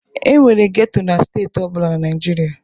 E nwere geto na steeti ọ bụla na Naịjirịa.